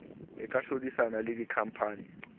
e ka hlodisana le dikhampani